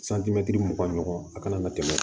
mugan ɲɔgɔn a kana na tɛmɛ